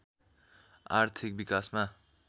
आर्थिक विकासमा